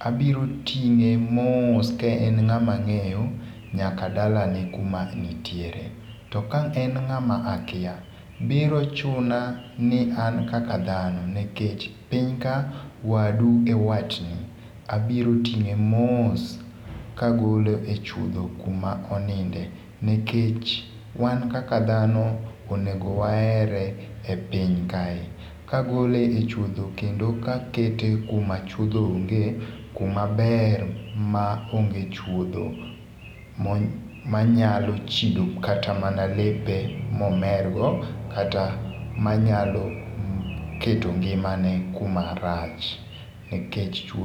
abiro ting'e mos kaen ng'amang'eyo nyaka dalane kuma nitiere. To ka en ng'ama akia, biro chuna ni an kaka dhano nikech pinyka wadu e watni, abiro ting'e mos kagole e chuodho kuma oninde nikech wan kaka dhano, onego waherre epiny kae, kagole e chuodho kendo kakete kuma chuodho ongee, kuma ber ma onge chuodho manyalo chido kata mana lepe momergo kata manyalo keto ngimane kumarach nikech chuodho.